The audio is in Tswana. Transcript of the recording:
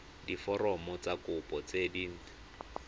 diforomo tsa kopo tse dint